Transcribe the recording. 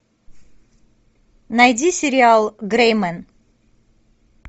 найди сериал грэй мен